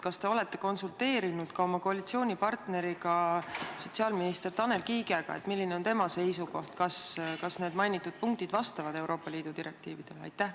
Kas te olete konsulteerinud ka oma koalitsioonipartneriga, täpsemalt sotsiaalminister Tanel Kiigega, milline on tema seisukoht, kas need punktid vastavad Euroopa Liidu direktiividele?